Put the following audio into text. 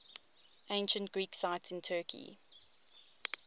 ancient greek sites in turkey